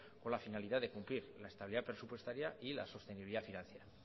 con la finalidad de cumplir la estabilidad presupuestaria y la sostenibilidad financiera